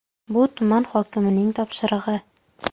Bu tuman hokimining topshirig‘i.